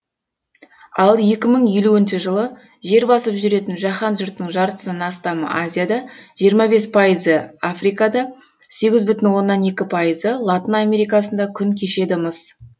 ал екі мың елуінші жылы жер басып жүретін жаһан жұртының жартысынан астамы азияда жиырма бес пайызы африкада сегіз бүтін оннан екі пайызы латын америкасында күн кешеді мыс